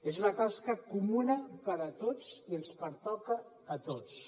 és una tasca comuna per a tots i ens pertoca a tots